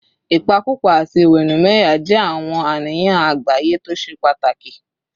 Ìpakúpa àti ìwẹ̀nùmọ́ ẹ̀yà jẹ́ àwọn àníyàn àgbáyé tó ṣe pàtàkì